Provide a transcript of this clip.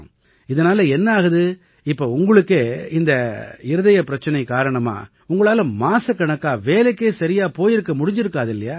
இதனால என்ன ஆகுது இப்ப உங்களுக்கே இந்த இருதய பிரச்சனை காரணமா உங்களால மாசக்கணக்கா வேலைக்கே சரியா போயிருக்க முடிஞ்சிருக்காதில்லையா